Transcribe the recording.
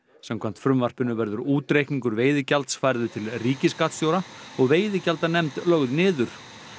samkvæmt frumvarpinu verður útreikningur veiðigjalds færður til ríkisskattstjóra og veiðigjaldanefnd lögð niður